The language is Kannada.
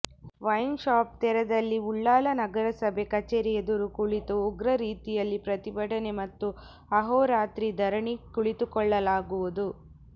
ವೈನ್ ಶಾಪ್ ತೆರೆದಲ್ಲಿ ಉಳ್ಳಾಲ ನಗರಸಭೆ ಕಚೇರಿ ಎದುರು ಕುಳಿತು ಉಗ್ರ ರೀತಿಯಲ್ಲಿ ಪ್ರತಿಭಟನೆ ಮತ್ತು ಅಹೋರಾತ್ರಿ ಧರಣಿ ಕುಳಿತುಕೊಳ್ಳಲಾಗುವುದು